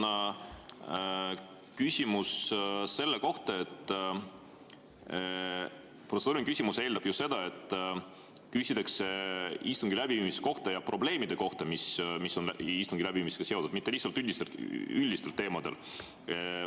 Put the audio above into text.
Mul on küsimus selle kohta, et protseduuriline küsimus eeldab ju seda, et küsitakse istungi läbiviimise kohta ja probleemide kohta, mis on istungi läbiviimisega seotud, mitte lihtsalt üldistel teemadel.